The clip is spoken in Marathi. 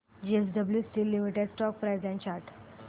JSW steel limited stock price and chart